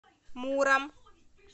муром